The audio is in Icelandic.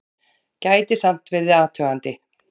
Gæti samt verið athugandi!